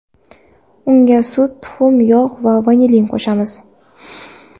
Unga sut, tuxum, yog‘ va vanilin qo‘shamiz.